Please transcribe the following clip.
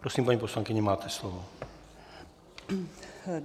Prosím, paní poslankyně, máte slovo.